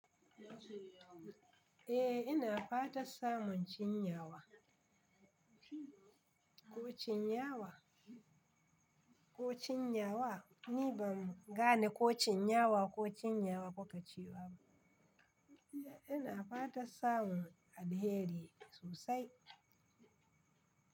Eh ina fatan samun cinyawa. Ko cinyawa ko cinyawa? Ni ba gane ko cinyawa ko cinyawa kuka ce ba. Ina fatan samun alheri sosai.